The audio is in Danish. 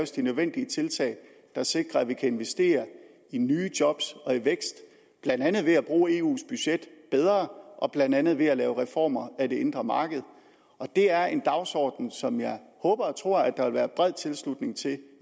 de nødvendige tiltag der sikrer at vi kan investere i nye job og i vækst blandt andet ved at bruge eus budget bedre og blandt andet ved at lave reformer af det indre marked det er en dagsorden som jeg håber og tror der vil være bred tilslutning til